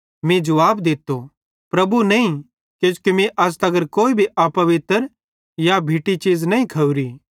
मीं जुवाब दित्तो प्रभु नईं किजोकि मीं अज़ तगर कोई भी अपवित्र या भिट्टी चीज़ नईं खोरी